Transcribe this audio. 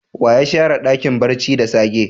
Wa ya share Dakin barci da sage?